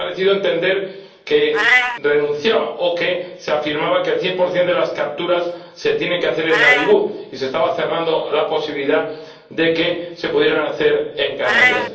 Me ha parecido entender que renunciaba, o que se afirmaba que el 100 de las capturas se tienen que hacer en Nuadhibu, y se estaba cerrando la posibilidad de que se pudieran hacer en Canarias.